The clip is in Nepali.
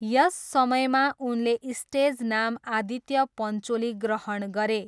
यस समयमा उनले स्टेज नाम आदित्य पन्चोली ग्रहण गरे।